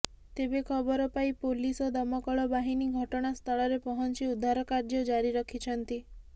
ତେବେ ଖବର ପାଇ ପୋଲିସ ଓ ଦମକଳ ବାହିନୀ ଘଟଣାସ୍ଥଳରେ ପହଞ୍ଚି ଉଦ୍ଧାର କାର୍ଯ୍ୟ ଜାରି ରଖିଛନ୍ତି